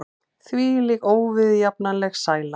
Hvílík óviðjafnanleg sæla!